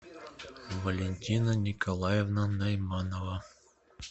валентина николаевна найманова